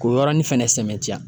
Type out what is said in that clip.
K'o yɔrɔnin fɛnɛ sɛmɛtiya